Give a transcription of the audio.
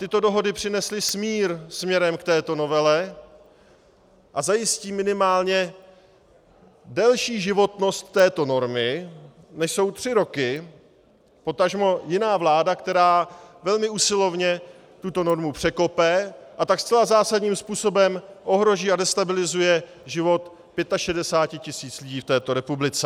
Tyto dohody přinesly smír směrem k této novele a zajistí minimálně delší životnost této normy, než jsou tři roky, potažmo jiná vláda, která velmi usilovně tuto normu překope, a tak zcela zásadním způsobem ohrozí a destabilizuje život 65 tisíc lidí v této republice.